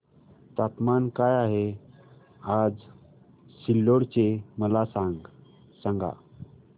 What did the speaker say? तापमान काय आहे आज सिल्लोड चे मला सांगा